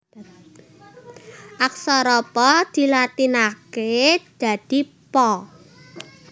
Aksara Pa dilatinaké dadi Pa